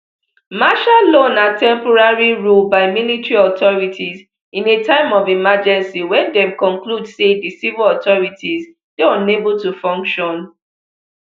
martial law na temporary ruleby military authorities in a time of emergency wen dem conclude say di civil authorities dey unable to function